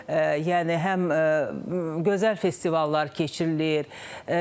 Yəni həm gözəl festivallar keçirilir.